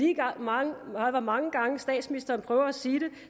lige meget hvor mange gange statsministeren prøver at sige det